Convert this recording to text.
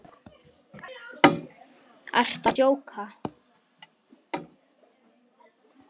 Ertu að djóka!?